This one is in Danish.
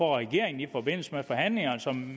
regeringen i forbindelse med forhandlinger